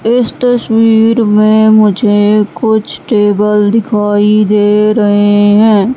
इस तस्वीर में मुझे कुछ टेबल दिखाई दे रहे हैं।